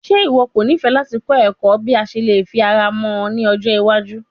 Ṣe iwọ yoo nifẹ lati kọ ẹkọ bi o ṣe le fi ara mọ ni ọjọ iwaju?